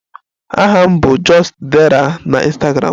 Aha m bụ just_dera na Ịnstagramụ